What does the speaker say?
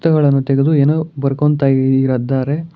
Book ಗಳನ್ನು ತೆಗೆದು ಏನೋ ಬರುಕೊಂತ ಇ ಇದಾರೆ.